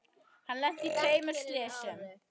Hann lenti í tveimur slysum.